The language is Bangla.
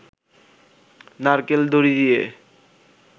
নারকেল দড়ি দিয়ে